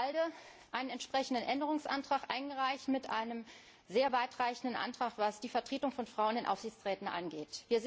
Wir haben als ALDE einen entsprechenden Änderungsantrag eingereicht mit einem sehr weitreichenden Antrag, was die Vertretung von Frauen in Aufsichtsräten angeht.